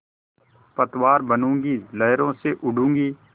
पतवार बनूँगी लहरों से लडूँगी